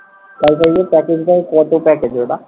wifi র যে package দেয়? কত package ওটা?